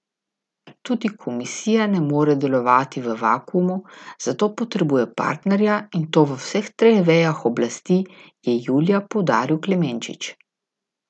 Tudi komisija ne more delovati v vakuumu, zato potrebuje partnerja, in to v vseh treh vejah oblasti, je julija poudaril Klemenčič.